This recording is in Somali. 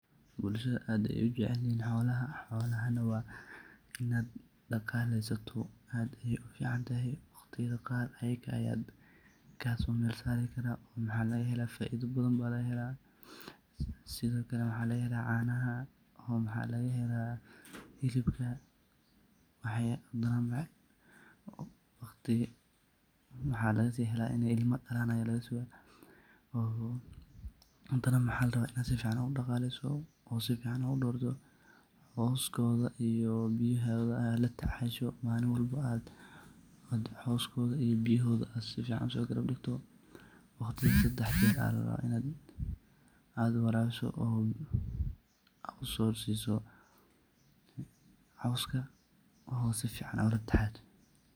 Bulshada aad Aya u jaceelyahin xolaha, xolaha wa Ina daqaleysatoh, ficantahay waqdiyatha Qaar ayaka kaso meer saari karah waxaladhay ila faitha bathan lagahelah sethokali waxa lagahelah canaha oo mxalagahelah helibka waxalasihelh Ina ilama dalan oo hadana waxalagarabah Ina sufican u daqaleysatoh oo sufan u dartoh, cuskthabyo biyahotha AA u tacashoo malinwalbo coskotha iyo biyahoda AA sisoh sifica usogarabdigtoh, waqdika sedax jeer Ina warabisoh AA usosesoh oo sufican ulatacashoh.